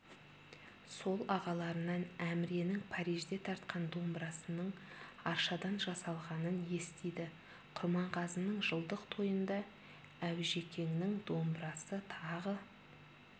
сол ағаларынан әміренің парижде тартқан домбырасының аршадан жасалғанын естиді құрманғазының жылдық тойында аужекеңнің домбырасы тағы